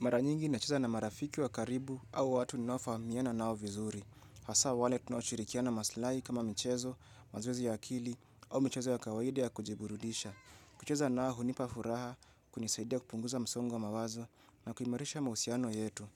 Mara nyingi nacheza na marafiki wa karibu au watu ninao fahamiana nao vizuri. Hasa wale tunao shirikiana maslai kama michezo, mazoezi ya akili au michezo ya kawaida ya kujiburudisha. Kucheza nao hunipa furaha kunisaidia kupunguza msongo wa mawazo na kuimarisha mahusiano yetu.